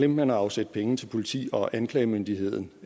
man at afsætte penge til politi og anklagemyndighed